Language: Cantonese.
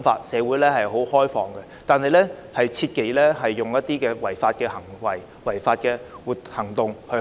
社會是開放的，但切忌做出一些違法的行為和行動。